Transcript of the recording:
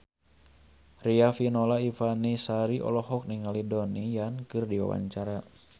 Riafinola Ifani Sari olohok ningali Donnie Yan keur diwawancara